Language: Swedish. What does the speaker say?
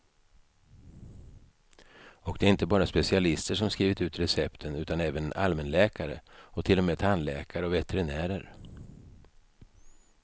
Och det är inte bara specialister som skrivit ut recepten, utan även allmänläkare och till och med tandläkare och veterinärer.